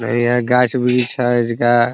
यहाँ गाँछ वृक्ष है इसका --